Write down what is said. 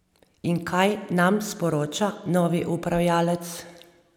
In kaj nam sporoča novi upravljalec?